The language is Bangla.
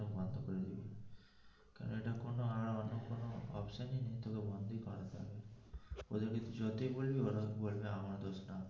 আর অন্য কোনো option ই নেই তোকে বন্ধই করতে হবে ওদের কে যতই বলবি ওরা বলবে আমার দোষ না,